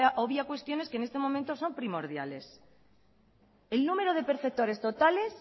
obvia cuestión es que en este momento son primordiales el número de perceptores totales